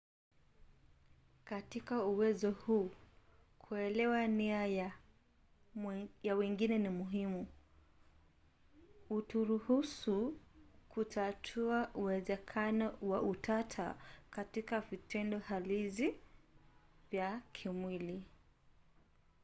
katika uwezo huu kuelewa nia ya wengine ni muhimu. huturuhusu kutatua uwezekano wa utata katika vitendo halisi vya kimwili